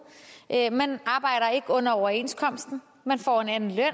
man arbejder ikke under overenskomsten man får en anden løn